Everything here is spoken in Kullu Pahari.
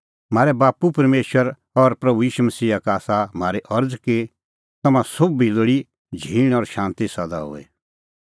म्हारै बाप्पू परमेशर और प्रभू ईशू मसीहा का आसा म्हारी अरज़ कि तम्हां सोभी लोल़ी झींण और शांती सदा हुई